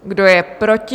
Kdo je proti?